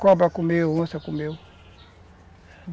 Cobra comeu, onça comeu.